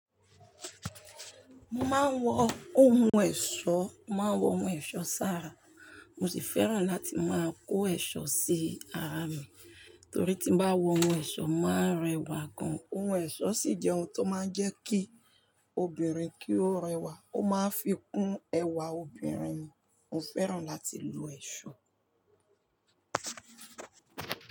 Mo máa ń wọ ohun ẹ̀ṣọ́, mo máa ń wọ ohun ẹ̀ṣọ́ sára. Mo sì fẹ́ràn láti máa kó ẹ̀ṣọ́ sí ara mi torí tí mo bá wọ ohun ẹ̀ṣọ́, mo máa rẹwà gan. Ohun ẹ̀ṣọ́ sì jẹ́ ohun tó máa ń jẹ́ kí obìnrin kí ó rẹwà, ó máa ń fi kún ẹwà obìnrin. Mo fẹ́ràn láti lo ẹ̀ṣọ́